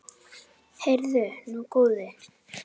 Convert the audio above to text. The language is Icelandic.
Heyrðu nú, góði!